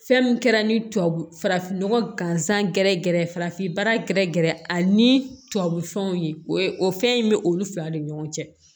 Fɛn min kɛra ni tubabu farafin nɔgɔ gansan gɛrɛ gɛrɛ farafinbaara gɛrɛ gɛrɛ ani tubabu fɛnw ye o ye o fɛn in be olu fila ni ɲɔgɔn cɛ